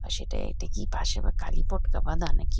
আর সেটায় এটা কি পাশে বা কারীপটকা বাঁধা নাকি--